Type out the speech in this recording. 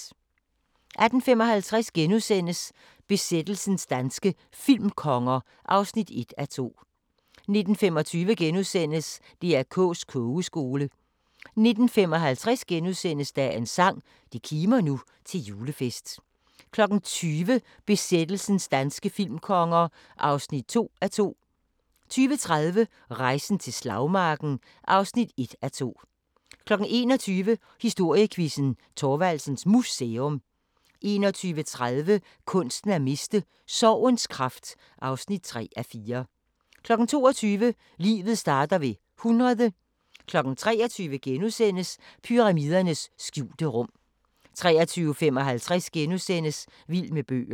18:55: Besættelsens danske filmkonger (1:2)* 19:25: DR K's Kogeskole * 19:55: Dagens sang: Det kimer nu til julefest * 20:00: Besættelsens danske filmkonger (2:2) 20:30: Rejsen til Slagmarken (1:2) 21:00: Historiequizzen: Thorvaldsens Museum 21:30: Kunsten at miste: Sorgens kraft (3:4) 22:00: Livet starter ved 100 23:00: Pyramidernes skjulte rum * 23:55: Vild med bøger *